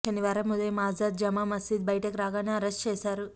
శనివారం ఉదయం ఆజాద్ జమా మసీద్ బయటికి రాగానే అరెస్ట్ చేశారు